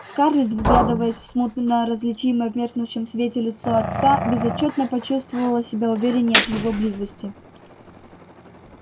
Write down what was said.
скарлетт вглядываясь в смутно различимое в меркнущем свете лицо отца безотчётно почувствовала себя увереннее от его близости